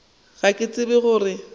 ga ke tsebe go re